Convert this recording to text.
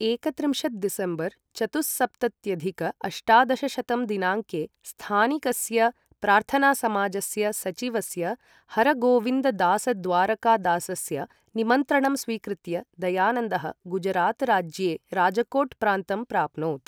एकत्रिंशत् दिसम्बर् चतुःसप्तत्यधिक अष्टादशशतं दिनाङ्के स्थानिकस्य प्रार्थनासमाजस्य सचिवस्य हरगोविन्ददासद्वारकादासस्य निमन्त्रणं स्वीकृत्य दयानन्दः गुजरातराज्ये राजकोट् प्रान्तं प्राप्नोत्।